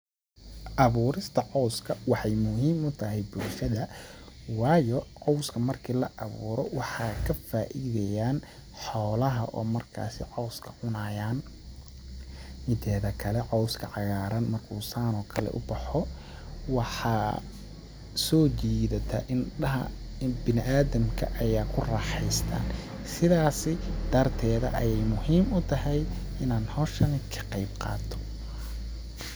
Abuurista cawska waxeey muhiim u tahay bulshada waayo cawska marki la abuuro waxaa ka faaideyaan xoolaha oo markaasi cawska cunayaan ,mideeda kale cawska cagaaran markuu saan oo kale u baxo waxaa soo jiidata indhaha ,in bini adamka ayaa ku raaxeysta ,sidaasi darteeda ayeey muhiim u tahay inaan hawshani ka qeyb qaato.